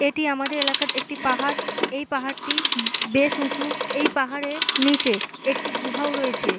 এটি আমাদের এলাকার একটি পাহাড় । এই পাহাড়টি উম বেশ উঁচু। এই পাহাড়ের নিচে একটি গুহাও রয়েছে।